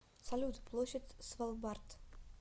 салют площадь свалбард